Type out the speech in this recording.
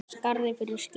Skarð fyrir skildi